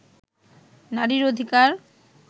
নারীর অধিকার